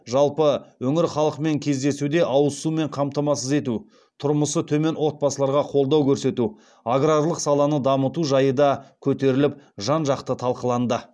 жалпы өңір халқымен кездесуде ауыз сумен қамтамасыз ету тұрмысы төмен отбасыларға қолдау көрсету аграрлық саланы дамыту жайы да көтеріліп жан жақты талқыланды